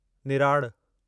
निराड़ु